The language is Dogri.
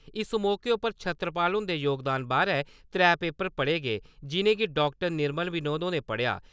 इस मौके उप्पर छतरपाल हुंदे जोगदान बारै त्रै पेपर पढ़े गे जि'नेंगी डा. निर्मल विनोद होरें पढ़ेआ।